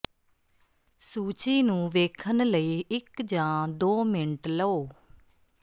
ਸੂਚੀ ਨੂੰ ਵੇਖਣ ਲਈ ਇੱਕ ਜਾਂ ਦੋ ਮਿੰਟ ਲਓ